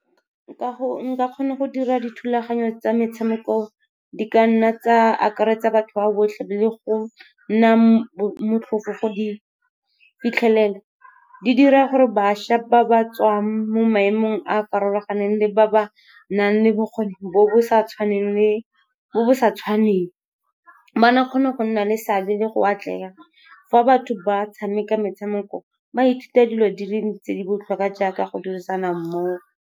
Nka kgona go dira dithulaganyo tsa metshameko, di ka nna tsa akaretsang batho botlhe le go nna motlhofo go di fitlhelela. Di dira gore bašwa ba ba tswang mo maemong a a farologaneng, le ba ba nang le bokgoni bo bo sa tshwaneng, ba kgone go nna le seabe le go atlega, fa batho ba tshameka metshameko, ba ithuta dilo dintsi tse di botlhokwa jaaka go dirisana mmogo.